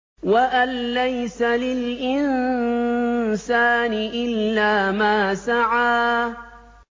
وَأَن لَّيْسَ لِلْإِنسَانِ إِلَّا مَا سَعَىٰ